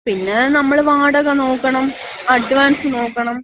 പിന്ന നമ്മള് വാടക നോക്കണം, അഡ്വാൻസ് നോക്കണം.